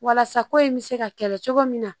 Walasa ko in bɛ se ka kɛlɛ cogo min na